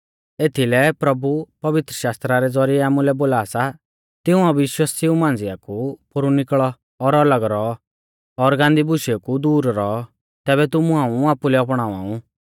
एथीलै प्रभु पवित्रशास्त्रा रै ज़ौरिऐ आमुलै बोला सा तिऊं अविश्वासिऊ मांझ़िया कु पोरु निकल़ौ और अलग रौ और गान्दी बुशेऊ कु दूर रौ तैबै तुमु हाऊं आपुलै अपणावा ऊ